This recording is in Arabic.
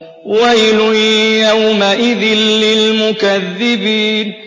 وَيْلٌ يَوْمَئِذٍ لِّلْمُكَذِّبِينَ